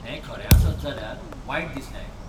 हें खरें आसत जाल्यार, वायट दिसलें आयकून.